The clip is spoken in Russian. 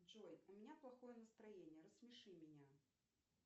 джой у меня плохое настроение рассмеши меня